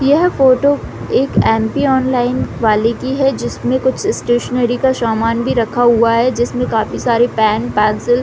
यह फोटो एक aunty online वाली की है जिसमे कुछ स्टैशनेरी का सामान भी रखा हुआ है जिसमे काफी सारे पेन पेन्सिल --